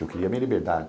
Eu queria minha liberdade.